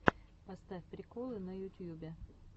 поставь приколы на ютьюбе